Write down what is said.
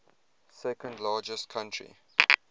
second largest country